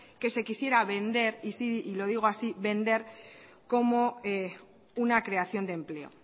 que se quisiera vender y lo digo así vender como una creación de empleo